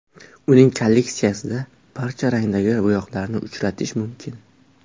Uning kolleksiyasida barcha rangdagi bo‘yoqlarni uchratish mumkin.